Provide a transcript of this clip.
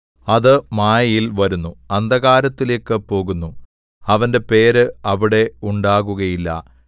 അത് മായയിൽ വരുന്നു അന്ധകാരത്തിലേക്കു പോകുന്നു അവന്റെ പേര് അവിടെ ഉണ്ടാകൂകയില്ല